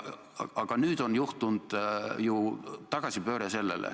Aga nüüd on juhtunud ju tagasipööre.